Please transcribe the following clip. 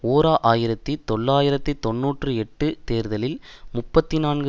ஓர் ஆயிரத்தி தொள்ளாயிரத்து தொன்னூற்றி எட்டு தேர்தலில் முப்பத்தி நான்கு